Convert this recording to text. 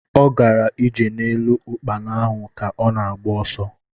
Ọ gara ije n'elu ukpana ahu ka ọ na-agba ọsọ